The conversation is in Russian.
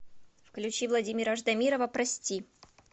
включи владимира ждамирова прости